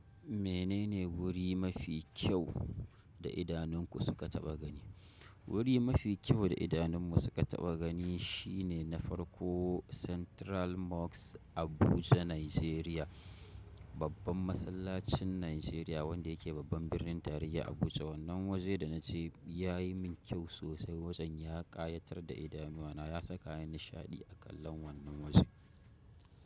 Menene wuri mafi kyau da idanunku suka taɓa gani? Wuri mafi kyau da idanun mu suka taɓa gani shine na farko central mosque Abuja Nigeria, babban masallacin Nigeria wanda yake babban birnin tarayya Abuja. Wannan waje da na je ya yi min kyau sosai, wajen ya ƙayatar da idanuwana. Ya saka ni nishaɗi a kallon wannan wajen.